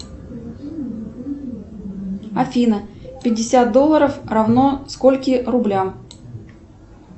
афина пятьдесят долларов равно скольким рублям